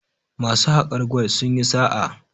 masu hakar gwal sun yi sa a